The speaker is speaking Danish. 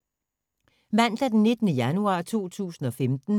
Mandag d. 19. januar 2015